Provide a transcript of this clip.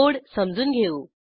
code समजून घेऊ